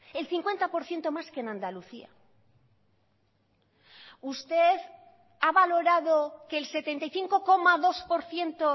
el cincuenta por ciento más que en andalucía usted ha valorado que el setenta y cinco coma dos por ciento